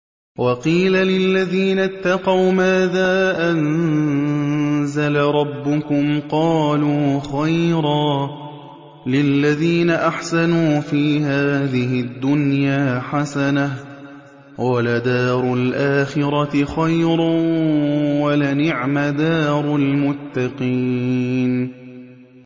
۞ وَقِيلَ لِلَّذِينَ اتَّقَوْا مَاذَا أَنزَلَ رَبُّكُمْ ۚ قَالُوا خَيْرًا ۗ لِّلَّذِينَ أَحْسَنُوا فِي هَٰذِهِ الدُّنْيَا حَسَنَةٌ ۚ وَلَدَارُ الْآخِرَةِ خَيْرٌ ۚ وَلَنِعْمَ دَارُ الْمُتَّقِينَ